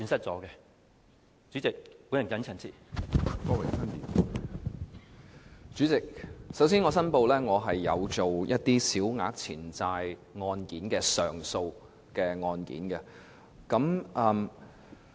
主席，首先，我申報我有處理一些小額錢債個案的上訴案件。